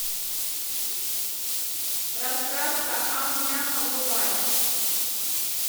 раскраска ам няма врубай